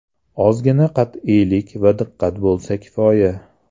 Ozgina qat’iylik va diqqat bo‘lsa kifoya.